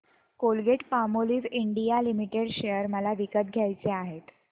Colgate Palmolive India Limited share मला विकत घ्यायचे आहेत